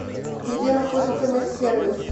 где находится медсервис